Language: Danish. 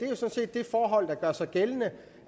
det forhold der gør sig gældende